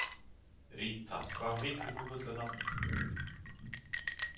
Ríta, hvað heitir þú fullu nafni?